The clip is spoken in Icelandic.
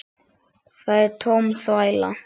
Það er tóm þvæla.